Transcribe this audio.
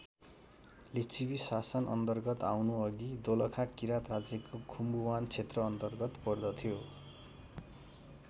लिच्छवी शासन अन्तर्गत आउनु अघि दोलखा किराँत राज्यको खुम्बुआन क्षेत्र अन्तर्गत पर्दथ्यो।